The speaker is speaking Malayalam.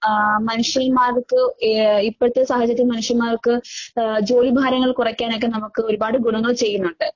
ആഹ് മനുഷ്യന്മാർക്ക് ഏ ഇപ്പഴത്തെ സാഹചര്യം മനുഷ്യന്മാർക്ക് ആഹ് ജോലിഭാരങ്ങൾ കുറയ്ക്കാനൊക്കെ നമുക്ക് ഒരുപാട് ഗുണങ്ങൾ ചെയ്യുന്നൊണ്ട്.